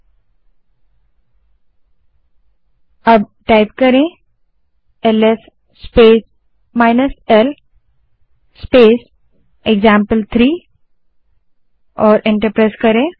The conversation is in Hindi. और अब L S space l space example type करें और एंटर दबायें